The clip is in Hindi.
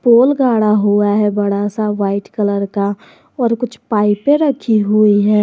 पोल गाढ़ा हुआ है बड़ा सा व्हाइट कलर का और कुछ पाइपें रखी हुई हैं।